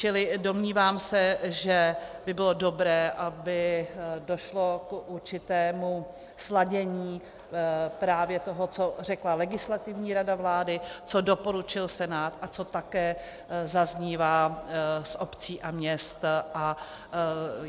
Čili domnívám se, že by bylo dobré, aby došlo k určitému sladění právě toho, co řekla Legislativní rada vlády, co doporučil Senát a co také zaznívá z obcí a měst.